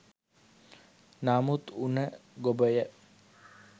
නමුත් උණ ගොබය